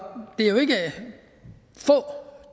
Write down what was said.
få